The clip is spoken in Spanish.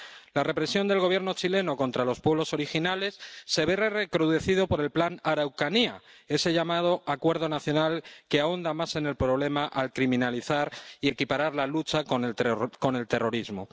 La represión del Gobierno chileno contra los pueblos originales se ve recrudecido por el Plan Araucanía, ese llamado Acuerdo Nacional, que ahonda más en el problema al criminalizar la lucha y equipararla con el terrorismo.